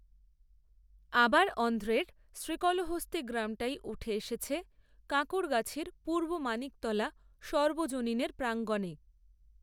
আবার, অন্ধ্রের শ্রীকলহস্তি গ্রামটাই উঠে এসেছে কাঁকূড়গাছির পূর্ব মানিকতলা সর্বজনীনের প্রাঙ্গণে